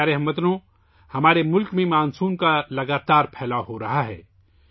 میرے پیارے ہم وطنو، ہمارے ملک میں مانسون کا دائرہ مسلسل بڑھ رہا ہے